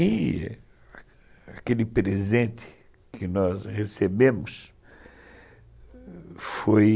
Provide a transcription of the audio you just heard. E a aquele presente que nós recebemos foi...